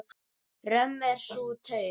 Römm er sú taug.